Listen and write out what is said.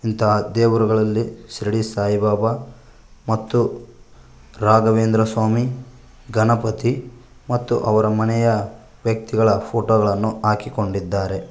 ಇಂತಹ ದೇವರುಗಳಲ್ಲಿ ಶಿರಡಿ ಸಾಯಿಬಾಬಾ ಮತ್ತು ರಾಘವೇಂದ್ರಸ್ವಾಮಿ ಗಣಪತಿ ಮತ್ತು ಅವರ ಮನೆಯ ವ್ಯಕ್ತಿಗಳ ಫೋಟೋ ಗಳನ್ನು ಹಾಕಿಕೊಂಡಿದ್ದಾರೆ.